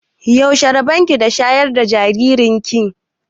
Yaushe rabon ki da shayar da jaririn ki?